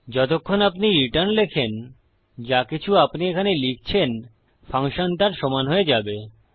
যতক্ষণ আপনি রিটার্ন লেখেন যাকিছু আপনি এখানে লিখছেন ফাংশন তার সমান হয়ে যাবে